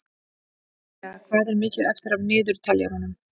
Svea, hvað er mikið eftir af niðurteljaranum?